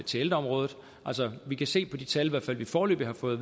til ældreområdet vi kan se på de tal vi i hvert fald foreløbig har fået